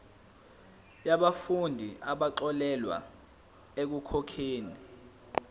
yabafundi abaxolelwa ekukhokheni